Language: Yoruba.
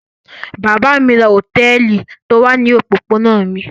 Bàbá mi ra hòtẹ́ẹ́lì tí ó wà ní òpópónà mi.